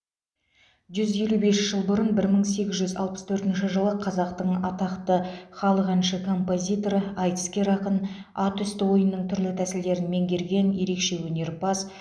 жүз елу бес жыл бұрын бір мың сегіз жүз алпыс төртінші жылы қазақтың атақты халық әнші композиторы айтыскер ақын ат үсті ойынының түрлі тәсілдерін меңгерген ерекше өнерпаз